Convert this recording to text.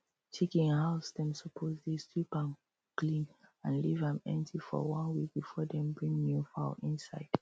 chicken house dem suppose dey sweep am clean and leave am empty for one week before dem bring new fowl inside